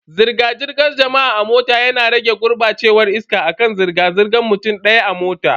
Zirga-zirgar jama'a a mota yana rage gurbacewar iska akan zirga zirgan mutum daya a mota.